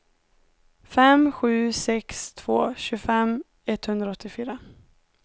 fem sju sex två tjugofem etthundraåttiofyra